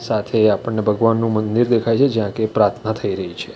સાથે આપણને ભગવાનનું મંદિર દેખાય છે જ્યાં કે પ્રાર્થના થઈ રહી છે.